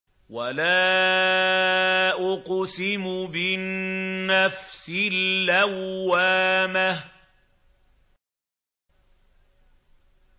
وَلَا أُقْسِمُ بِالنَّفْسِ اللَّوَّامَةِ